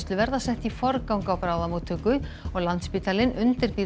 verða sett í forgang á bráðamóttöku og Landspítalinn undirbýr